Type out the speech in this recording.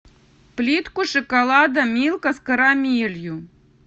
плитку шоколада милка с карамелью